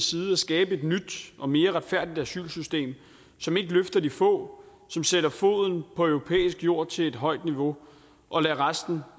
side at skabe et nyt og mere retfærdigt asylsystem som ikke løfter de få som sætter foden på europæisk jord til et højt niveau og lader resten